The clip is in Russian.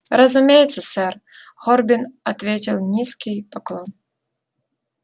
разумеется сэр горбин ответил низкий поклон